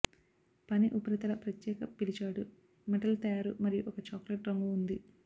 పని ఉపరితల ప్రత్యేక పిలిచాడు మెటల్ తయారు మరియు ఒక చాక్లెట్ రంగు ఉంది